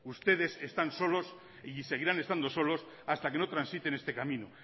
ustedes están solos y seguirán estando solos hasta que no transiten este camino